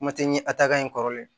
Kuma tɛ ɲɛ a ta kan in kɔrɔlen